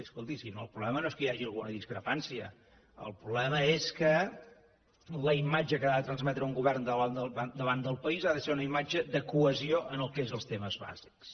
escolti si el problema no és que hi hagi alguna discrepància el problema és que la imatge que ha de transmetre un govern davant del país ha de ser una imatge de cohesió en el que és els temes bàsics